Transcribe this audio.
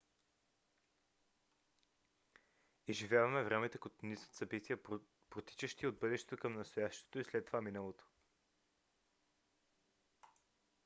изживяваме времето като низ от събития протичащи от бъдещето към настоящето и след това миналото